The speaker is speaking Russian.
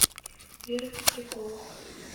вера петрякова